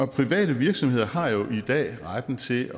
private virksomheder har jo i dag retten til